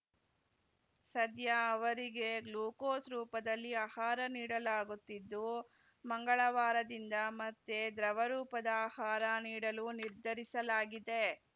ಸದ್ಯ ಅವರಿಗೆ ಗ್ಲೂಕೋಸ್‌ ರೂಪದಲ್ಲಿ ಆಹಾರ ನೀಡಲಾಗುತ್ತಿದ್ದು ಮಂಗಳವಾರದಿಂದ ಮತ್ತೆ ದ್ರವ ರೂಪದ ಆಹಾರ ನೀಡಲು ನಿರ್ಧರಿಸಲಾಗಿದೆ